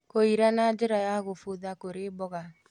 Kũira na njĩra ya gũbutha kũrĩ mboga